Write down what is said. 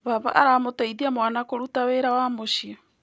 Baba aramũteithia mwana kũruta wĩra wa mũciĩ.